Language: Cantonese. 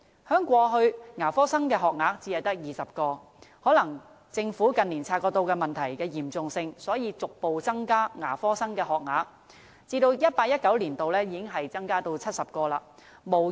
在過去，牙科生的學額每年只有20個，可能政府近年察覺到問題的嚴重性，所以逐步增加牙科生的學額，在 2018-2019 年度，已經增至70個。